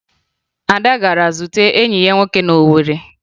Ada gara zute enyi ya nwoke na Owere